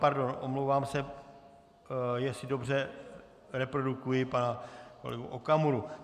Pardon, omlouvám se, jestli dobře reprodukuji pana kolegu Okamuru.